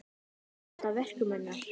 Ég dáðist að verkum hennar.